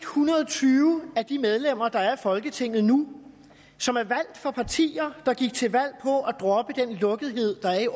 hundrede og tyve af de medlemmer der er i folketinget nu som er valgt for partier der gik til valg på at droppe den lukkethed der er i